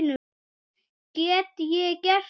Get ég gert það?